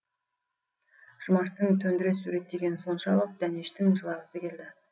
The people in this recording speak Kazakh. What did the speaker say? жұмаштың төндіре суреттегені соншалық дәнештің жылағысы келді